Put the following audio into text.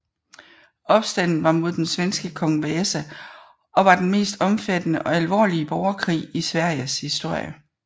Opstanden var mod den svenske kong Gustav Vasa og var den mest omfattende og alvorlige borgerkrig i Sveriges historie